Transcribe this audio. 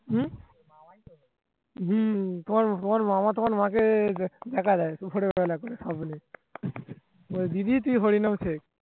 হম হম তোমার তোমার মামা তোমার মা কে দেখা দেয় হরিনাম